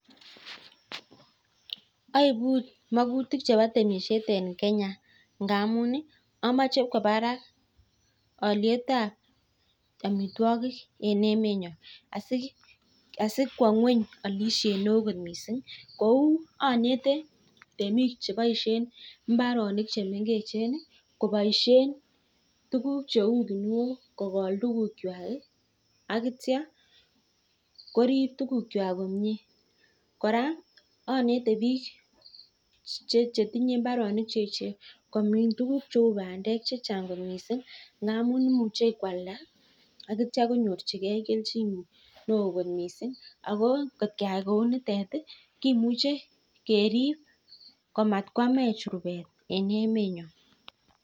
Aibuu makutik ab temishet amuu amechee kwoo barak aliet ab amitwokik eng emet nyoo anetee bik chetinyee mbaronik cheechen komin tuguk cheu bandet amuu imuchi kowalda